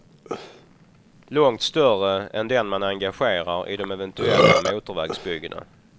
Långt större än den man engagerar i de eventuella motorvägsbyggena.